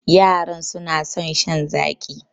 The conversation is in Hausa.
Yaran suna son shan zaƙi